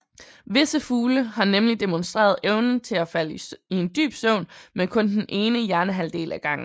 Visse fugle har nemlig demonstreret evnen til at falde i en dyb søvn med kun den ene hjernehalvdel ad gangen